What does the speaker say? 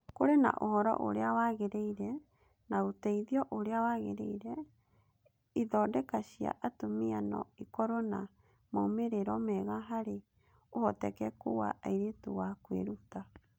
Kũrĩ na ũhoro ũrĩa wagĩrĩire na ũteithio ũrĩa wagĩrĩire, ithondeka cia atumia no ikorũo na moimĩrĩro mega harĩ ũhotekeku wa airĩtu wa kwĩruta